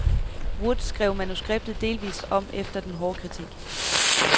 Wood skrev manuskriptet delvis om efter den hårde kritik.